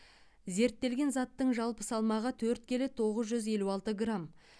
зерттелген заттың жалпы салмағы төрт келі тоғыз жүз елу алты грамм